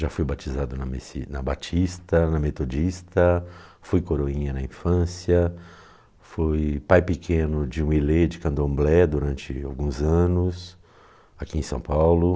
Já fui batizado na Mesi, na Batista, na Metodista, fui coroinha na infância, fui pai pequeno de de candomblé durante alguns anos aqui em São Paulo.